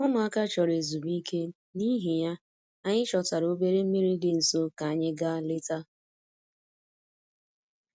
Ụmụaka chọrọ ezumike, n'ihi ya, anyị chọtara obere mmiri dị nso ka anyị gaa leta